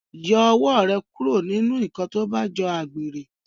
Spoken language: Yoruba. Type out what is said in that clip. Yọ ọwọ rẹ kúrò nínú nkán tó bá jọ àgbèrè!